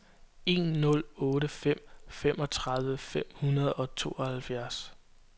en nul otte fem femogtredive fem hundrede og tooghalvfjerds